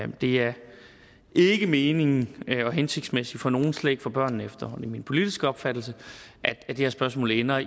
det er ikke meningen og hensigtsmæssigt for nogen slet ikke for børnene efter min politiske opfattelse at det her spørgsmål ender